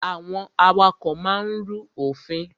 Àwọn awakọ̀ máa ń rú òfin.